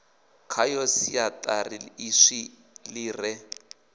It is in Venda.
khayo siaṱari ḽiswa ḽi re